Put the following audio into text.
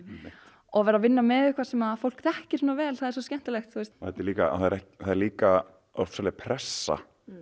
og að vera að vinna með eitthvað sem fólk þekkir svona vel það er svo skemmtilegt það er það er líka ofsaleg pressa